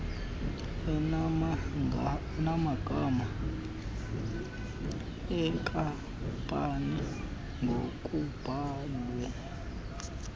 enamagama enkampani ngokubhalwe